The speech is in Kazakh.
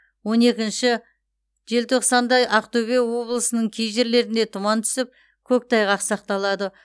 он екінші желтоқсанда ақтөбе облысының кей жерлерінде тұман түсіп көктайғақ сақталады